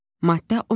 Maddə 15.